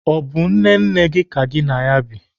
Ọ bụ nne nne gị ka gị na bi?